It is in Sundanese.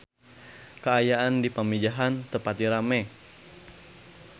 Kaayaan di Pamijahan teu pati rame